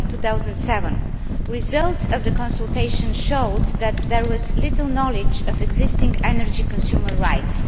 2007. The results of the consultation showed that there was little knowledge of existing energy consumer rights.